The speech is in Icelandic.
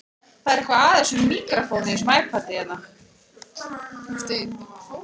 Lóa Lóa fann þetta ískalda renna eftir bakinu á sér.